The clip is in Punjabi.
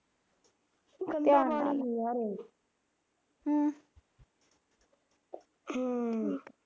ਹਮ ਹਾਂ